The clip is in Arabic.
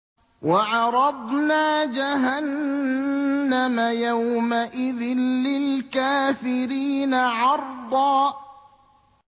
وَعَرَضْنَا جَهَنَّمَ يَوْمَئِذٍ لِّلْكَافِرِينَ عَرْضًا